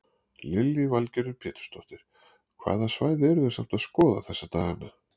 Lillý Valgerður Pétursdóttir: Hvaða svæði eru þið samt að skoða þessa daganna?